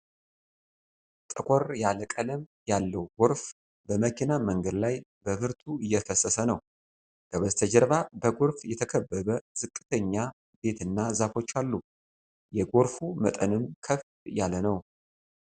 ጠቆር ያለ ቀለም ያለው ጎርፍ በመኪና መንገድ ላይ በብርቱ እየፈሰሰ ነው። ከበስተጀርባ በጎርፍ የተከበበ ዝቅተኛ ቤትና ዛፎች አሉ። የጎርፉ መጠንም ከፍ ያለ ነው።